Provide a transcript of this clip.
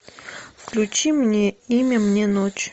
включи мне имя мне ночь